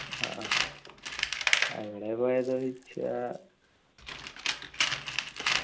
ആഹ് അങ്ങനെ പോയത് ചോദിച്ചാൽ